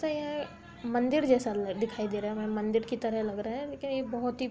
तो यह मंदिर जैसा लग दिखाई दे रहा है | हमें मंदिर की तरह लग रहा है लेकिन ये बोहत ही --